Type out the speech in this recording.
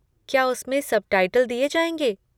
क्या उसमें सबटाइटल दिए जाएँगे?